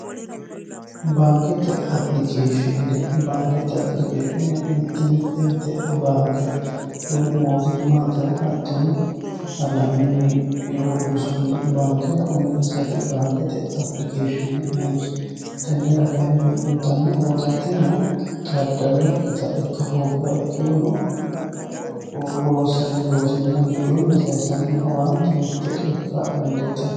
Baankete application ,baankete application mite mitete baankera woyi mootimmatera hattono mootimmata ikkitinokkitera uurrinsonniti baankete application noonsa tenera uyittano owaante xaadanokkitta ikka hoogurono Loonsanni loosinna mitteenni saysanni sokka mite ikka dandiittano.